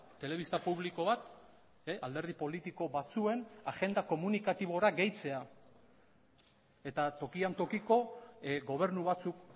telebista publiko bat alderdi politiko batzuen agenda komunikatibora gehitzea eta tokian tokiko gobernu batzuk